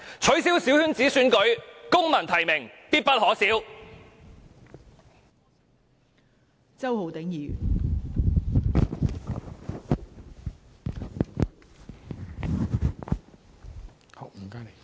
取消小圈子選舉，公民提名，必不可少。